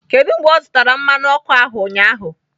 Kedu mgbe ọ zụtara mmanụ ọkụ ahụ, ụnyaahụ?